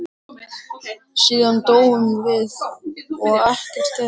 Síðan dóum við og ekkert gerðist.